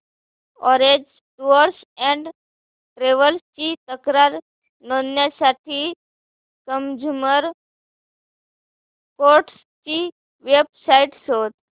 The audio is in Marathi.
ऑरेंज टूअर्स अँड ट्रॅवल्स ची तक्रार नोंदवण्यासाठी कंझ्युमर कोर्ट ची वेब साइट शोध